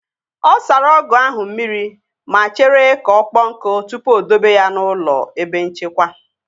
Ọ sara ọgụ ahụ mmiri ma chere ka ọkpọ nkụ tupu o dobe ya n'ụlọ ebe nchekwa